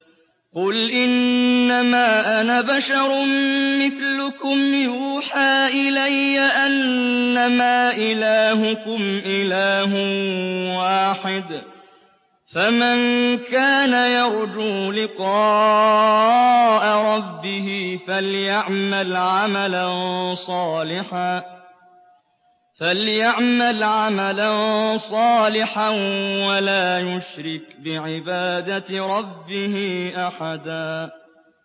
قُلْ إِنَّمَا أَنَا بَشَرٌ مِّثْلُكُمْ يُوحَىٰ إِلَيَّ أَنَّمَا إِلَٰهُكُمْ إِلَٰهٌ وَاحِدٌ ۖ فَمَن كَانَ يَرْجُو لِقَاءَ رَبِّهِ فَلْيَعْمَلْ عَمَلًا صَالِحًا وَلَا يُشْرِكْ بِعِبَادَةِ رَبِّهِ أَحَدًا